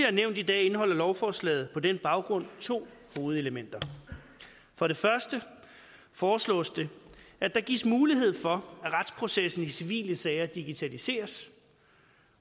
er nævnt i dag indeholder lovforslaget på den baggrund to hovedelementer for det første foreslås det at der gives mulighed for at retsprocessen i civile sager digitaliseres